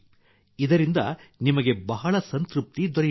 ಇಧರಿಂದ ನಿಮಗೆ ಬಹಳ ಸಂತೃಪ್ತಿ ದೊರೆಯುತ್ತದೆ